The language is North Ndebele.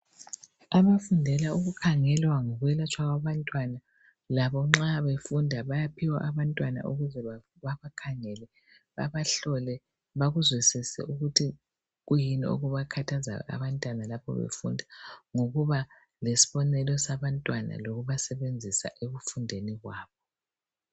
Abafundela ukukhangela ngokwelatshwa kwabantwana. Labo nxa befunda bayaphiwa abantwana ukuze babakhangele babahlole, bakuzwisise ukuthi kuyini okubakhathazayo abantwana lapha befunda. Ngokuba lesibonelo sabantwana lokubasebenzisa ekufundeni kwabo.